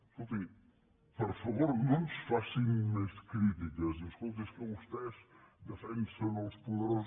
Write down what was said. escolti per favor no ens facin més crítiques diu escolti és que vostè defensen els poderosos